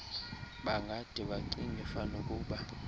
bangade bacinge fanukuba